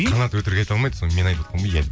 қанат өтірік айта алмайды соны мен айтып отқанмын ғой иә